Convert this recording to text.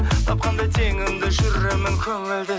тапқандай теңімді жүремін көңілді